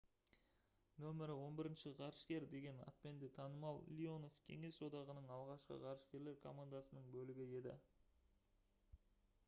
«№ 11 ғарышкер» деген атпен де танымал леонов кеңес одағының алғашқы ғарышкерлер командасының бөлігі еді